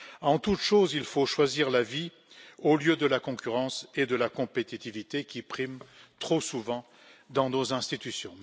En toute chose, il faut choisir la vie au lieu de la concurrence et de la compétitivité, qui priment trop souvent dans nos institutions.